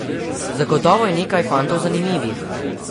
Zagotovo je nekaj fantov zanimivih.